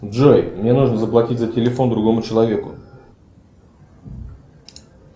джой мне нужно заплатить за телефон другому человеку